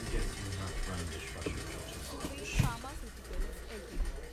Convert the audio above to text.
Suven pharmaceuticals LTD